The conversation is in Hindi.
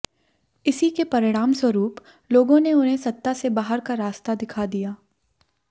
इसी के परिणामस्वरूप लोगों ने उन्हें सत्ता से बाहर का रास्ता दिखा दिया